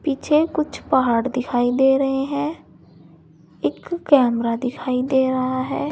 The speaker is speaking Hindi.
पीछे कुछ पहाड़ दिखाई दे रहे हैं एक कैमरा दिखाई दे रहा है।